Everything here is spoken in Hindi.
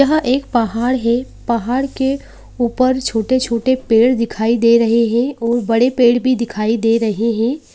यह एक पहाड है पहाड़ के ऊपर छोटे छोटे पेड़ दिखाई दे रहे हैं और बड़े पेड भी दिखाई दे रहे हैं ।